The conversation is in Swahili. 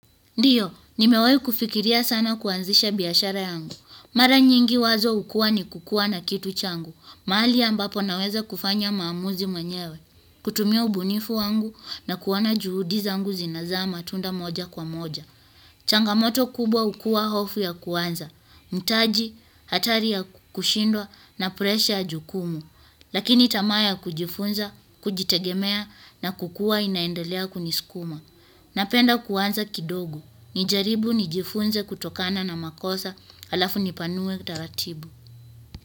Ndio, nimewahi kufikiria sana kuanzisha biashara yangu. Mara nyingi wazo hukuwa ni kukuwa na kitu changu. Mahali ambapo naweza kufanya maamuzi mwenyewe. Kutumia ubunifu wangu na kuona juhudi zangu zinazaa matunda moja kwa moja. Changamoto kubwa hukuwa hofu ya kuanza. Mtaji, hatari ya kushindwa na presha ya jukumu. Lakini tamaa ya kujifunza, kujitegemea na kukuwa inaendelea kunisikuma. Napenda kuanza kidogo. Nijaribu nijifunze kutokana na makosa alafu nipanue taratibu.